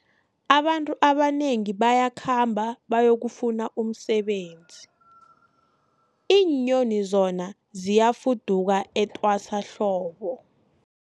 Abantu abanengi bayakhamba bayokufuna umsebenzi, iinyoni zona ziyafuduka etwasahlobo.